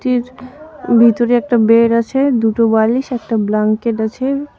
ভিতরে একটা বেড আছে দুটো বালিশ একটা ব্ল্যাঙ্কেট আছে।